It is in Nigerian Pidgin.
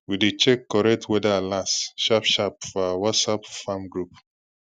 we dey check correct weather alerts sharp sharp for our whatsapp farm group